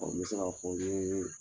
Ɔn n bɛ se ka fɔ n ye